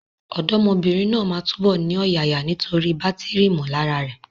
Ọ̀dọ́mọbìnrin náà máa túbọ̀ ní ọ̀yàyà nítorí bátìrì ìmọ̀lára rẹ̀.